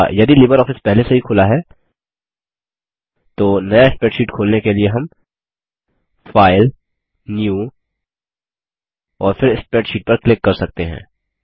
या यदि लिबरऑफिस पहले से ही खुला है तो नया स्प्रैडशीट खोलने के लिए हम फाइल न्यू और फिर स्प्रेडशीट पर क्लिक कर सकते हैं